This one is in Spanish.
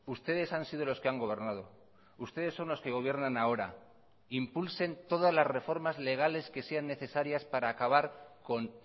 ustedes han sido los que han gobernado ustedes son los que gobiernan ahora impulsen todas las reformas legales que sean necesarias para acabar con